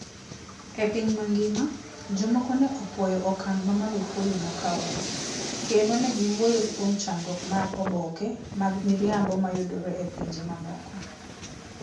E piny mangima, jomoko ne opuoyo okang ' ma Magufuli nokawono, kendo ne giwuoyo kuom chandruok mar oboke mag miriambo mayudore e pinje mamoko.